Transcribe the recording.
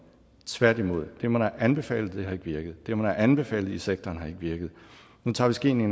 tværtimod det man har anbefalet har ikke virket det man har anbefalet i sektoren har ikke virket nu tager vi skeen